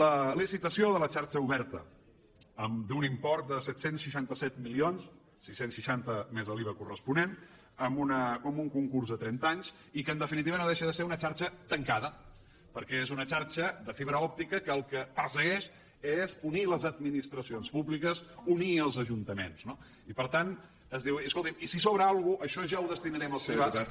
la licitació de la xarxa oberta d’un import de set cents i setanta set milions sis cents i seixanta més l’iva corresponent amb un concurs a trenta anys i que en definitiva no deixa de ser una xarxa tancada perquè és una xarxa de fibra òptica que el que persegueix és unir les administracions públiques unir els ajuntaments no i per tant es diu escoltim i si sobra alguna cosa això ja ho destinarem als privats